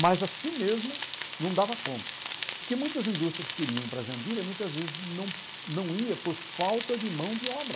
Mas assim mesmo não dava conta, porque muitas indústrias queriam ir para Jandira e muitas vezes não não ia por falta de mão de obra.